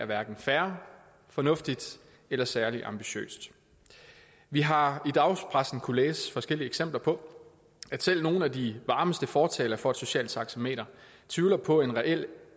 hverken er fair fornuftigt eller særlig ambitiøst vi har i dagspressen kunnet læse forskellige eksempler på at selv nogle af de varmeste fortalere for et socialt taxameter tvivler på en reel